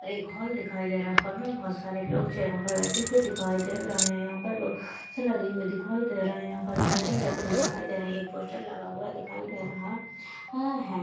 और एक हॉल दिखाई दे रहा है। हॉल मे बहुत सारे लोग चेअरो पे बैठे हुए दिखाई दे रहे है। यहा पर बा सा लगी हुई दिखाई दे रही है। यहा पर लायटिग जलती हुई दिखाई दे रही है। एक पोस्टर लगा हुआ दिखाई दे रहा आ है।